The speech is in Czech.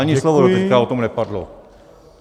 Ani slovo doteď o tom nepadlo.